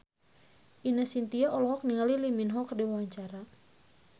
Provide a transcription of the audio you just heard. Ine Shintya olohok ningali Lee Min Ho keur diwawancara